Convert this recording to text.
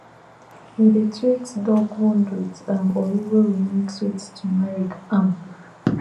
we dey treat dog wound with um ori wey we mix with turmeric um